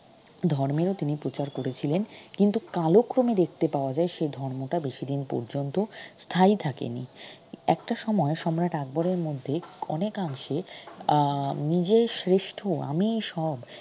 ধর্মেরও তিনি প্রচার করেছিলেন কিন্তু কালক্রমে দেখতে পাওয়া যায় সে ধর্মটা বেশি দিন পর্যন্ত স্থায়ী থাকে নি একটা সময় সম্রাট আকবরের মধ্যেই অনেকাংশে আহ নিজে শ্রেষ্ঠ আমিই সব